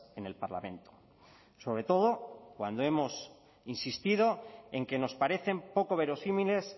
en el parlamento sobre todo cuando hemos insistido en que nos parecen poco verosímiles